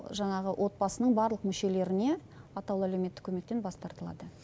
жаңағы отбасының барлық мүшелеріне атаулы әлеуметтік көмектен бас тартылады